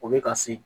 O bɛ ka se